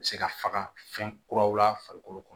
Se ka faga fɛn kuraw la farikolo kɔnɔ